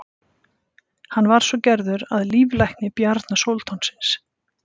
hann var svo gerður að líflækni bjarna sóldáns